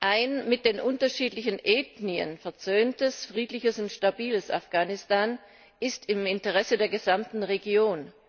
Ein mit den unterschiedlichen Ethnien versöhntes, friedliches und stabiles Afghanistan ist im Interesse der gesamten Region.